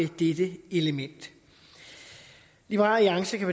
dette element liberal alliance kan